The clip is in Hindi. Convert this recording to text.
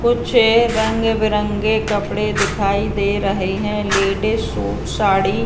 कुछ रंग-बिरंगे कपड़े दिखाई दे रहे हैं। Ladies suit sari --